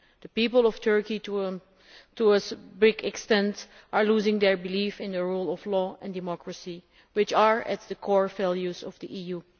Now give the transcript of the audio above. The people of Turkey, to a great extent, are losing their belief in the rule of law and democracy, which are the core values of the EU.